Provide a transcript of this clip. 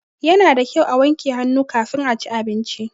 Ya na da kyau a wanke hannu kafin a ci abinci.